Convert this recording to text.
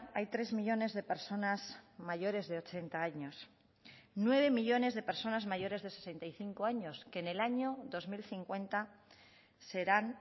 hay tres millónes de personas mayores de ochenta años nueve millónes de personas mayores de sesenta y cinco años que en el año dos mil cincuenta serán